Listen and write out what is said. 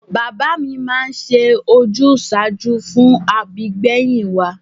Bàbá mi máa ń ṣe ojúsàájú fún àbígbẹ̀yìn wa